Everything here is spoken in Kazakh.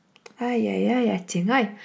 әй әй әй әттең ай